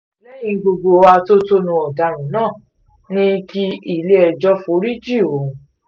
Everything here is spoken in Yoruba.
lẹ́yìn gbogbo atótónu ọ̀daràn náà ní kí ilé-ẹjọ́ foríjì òun